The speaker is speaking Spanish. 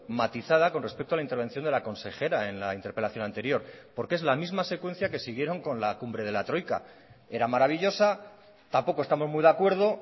matizada con respecto a la intervención de la consejera en la interpelación anterior porque es la misma secuencia que siguieron con la cumbre de la troika era maravillosa tampoco estamos muy de acuerdo